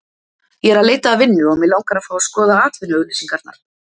Ég er að leita að vinnu og mig langar að fá að skoða atvinnuauglýsingarnar